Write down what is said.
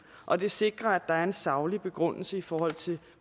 og det sikrer at der er en saglig begrundelse i forhold til